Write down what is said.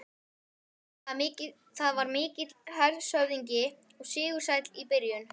Það var mikill hershöfðingi og sigursæll í byrjun.